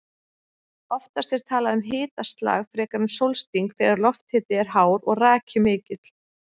Oftast er talað um hitaslag frekar en sólsting þegar lofthiti er hár og raki mikill.